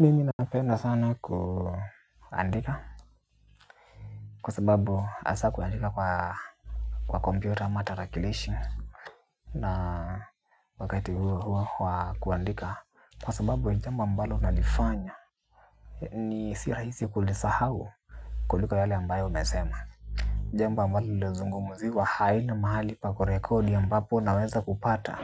Mimi napenda sana kuandika kwa sababu hasa kuandika kwa kwa computer ama tarakilishi na wakati huo huo wa kuandika kwa sababu ni jambo ambalo nalifanya ni si rahisi kulisahau kulika yale ambayo umesema. Jambo ambalo lililozungumziwa haina mahali pa kurekodi ambapo unaweza kupata